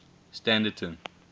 standerton